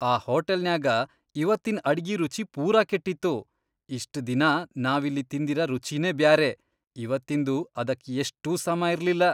ಆ ಹೋಟಲ್ನ್ಯಾಗ ಇವತ್ತಿನ್ ಅಡ್ಗಿ ರುಚಿ ಪೂರಾ ಕೆಟ್ಟಿತ್ತು. ಇಷ್ಟ್ ದಿನಾ ನಾವಿಲ್ಲಿ ತಿಂದಿರ ರುಚಿನೇ ಬ್ಯಾರೆ ಇವತ್ತಿಂದು ಅದಕ್ ಎಷ್ಟೂ ಸಮಾ ಇರ್ಲಿಲ್ಲಾ.